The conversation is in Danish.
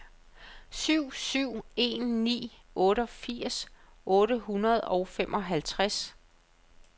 syv syv en ni otteogfirs otte hundrede og femoghalvtreds